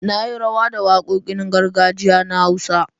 Na yi rawa da wakokin gargajiya na Hausa.